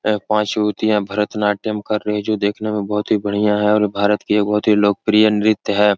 अ पाँच युवतियाँ भरतनाट्यम कर रही जो देखने में बहोत ही बढ़िया है और भारत की ये बहोत ही लोकप्रिय नृत्य है।